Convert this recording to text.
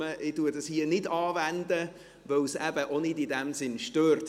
Ich wende es hier nicht an, weil es eben in dem Sinn auch nicht stört.